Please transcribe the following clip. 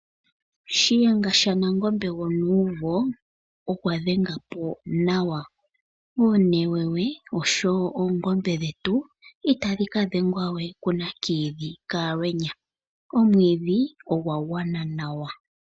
Shiyenga shaNangombe gwonuumvo okwe gadhenga po nawa. Oonewewe oshowo oongombe dhetu itadhi kadhengwa kuNakiidhi kaAlweenya. Omwiidhi ogwa gwana nawa.